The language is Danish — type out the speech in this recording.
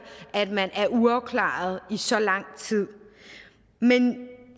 at man er uafklaret i så lang tid men